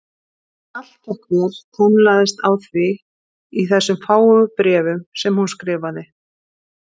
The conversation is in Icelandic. Allt gekk vel, tönnlaðist á því í þessum fáu bréfum sem hún skrifaði.